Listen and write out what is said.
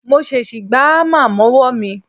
Mo ṣèṣì gbá hámà mọ́wọ́ mi